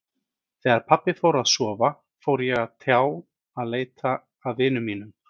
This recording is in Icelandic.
Þegar pabbi fór að sofa fór ég á stjá að leita að vinum mínum.